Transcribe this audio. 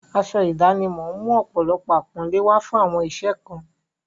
Aṣọ ìdánimọ̀ ń mú ọ̀pọ̀lọpọ̀ àpọ́nlé wá fún àwọn iṣẹ́ kan.